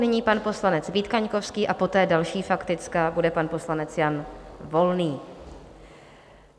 Nyní pan poslanec Vít Kaňkovský a poté další faktická bude pan poslanec Jan Volný.